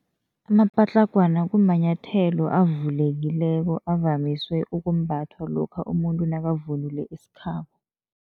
Amapatlagwana kumanyathelo avulekileko, avamiswe ukumbathwa lokha umuntu nakavunule isikhabo.